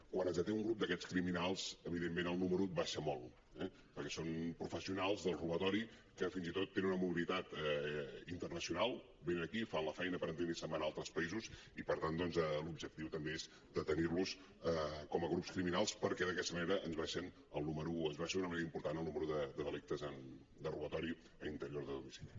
quan es deté un grup d’aquests criminals evidentment el número baixa molt perquè són professionals dels robatoris que fins i tot tenen una mobilitat internacional venen aquí fan la feina per entendre’ns i se’n van a altres països i per tant doncs l’objectiu també és detenir los com a grups criminals perquè d’aquesta manera ens baixa d’una manera important el número de delictes de robatori a l’interior de domicili